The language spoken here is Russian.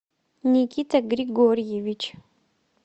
никита григорьевич